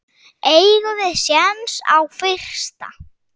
Eigum við séns á fyrsta?